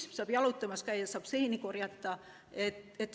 Metsas saab jalutamas käia, saab seeni korjata.